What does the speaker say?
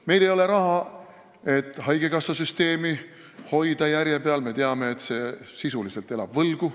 Meil ei ole raha, et haigekassasüsteemi järje peal hoida, me teame, et see elab sisuliselt võlgu.